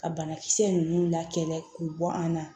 Ka banakisɛ ninnu lakɛ k'u bɔ an na